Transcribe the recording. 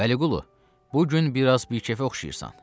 Vəliqulu, bu gün biraz bikefə oxşayırsan.